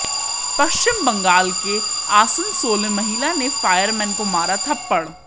पश्चिम बंगाल के आसनसोल में महिला ने फायरमैन को मारा थप्पड़